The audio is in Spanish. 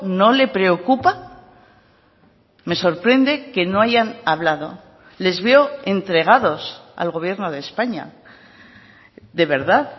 no le preocupa me sorprende que no hayan hablado les veo entregados al gobierno de españa de verdad